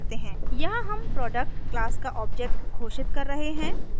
यहाँ हम product class का ऑब्जेक्ट घोषित कर रहे हैं